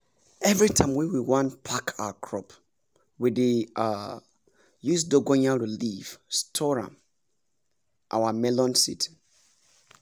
everytime wey we wan pack our crop we dey um use dongoyaro leaf store um our melon seed